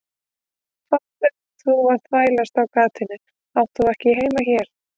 Hvað ert þú að þvælast á gatinu, þú átt ekkert heima hérna.